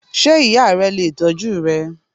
Sé ìya re lè tójú rẹ?